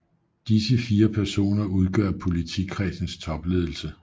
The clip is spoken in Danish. Disse 4 personer udgør politikredsens topledelse